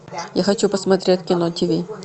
я хочу посмотреть кино тв